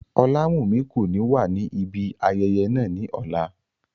Olawumi ko ni wa ni ibi ayẹyẹ naa ni ọla.